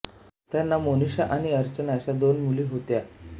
त्यांना मोनिशा आणि अर्चना अशा दोन मुली होत्या